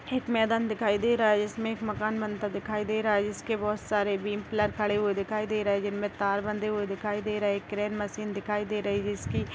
एक मैदान दिखाई दे रहा हैं जिसमें एक मकान बनता दिखाई दे रहा हैं जिसके बहोत सारे बीम पिलर खड़े हुए दिखाई दे रहे हैं जिनमें तार बँधे हुए दिखाई दे रहे हैं क्रेन मशीन दिखाई दे रही हैं जिसकी--